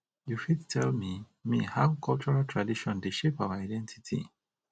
you fit tell me me how cultural traditon dey shape our identity